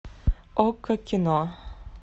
окко кино